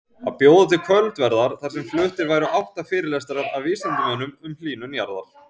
Að bjóða til kvöldverðar þar sem fluttir væru átta fyrirlestrar af vísindamönnum um hlýnun jarðar.